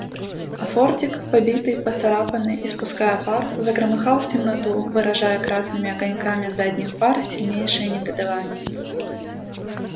а фордик побитый поцарапанный испуская пар загромыхал в темноту выражая красными огоньками задних фар сильнейшее негодование